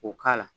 K'o k'a la